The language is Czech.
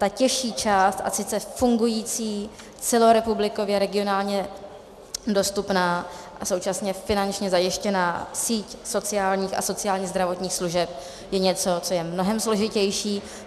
Ta těžší část, a sice fungující, celorepublikově, regionálně dostupná a současně finančně zajištěná síť sociálních a sociálně zdravotních služeb, je něco, co je mnohem složitější.